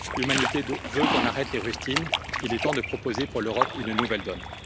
L'humanité veut qu'on arrête les rustines, il est temps de proposer pour l'Europe une nouvelle donne.